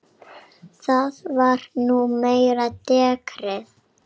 Það var nú meira dekrið.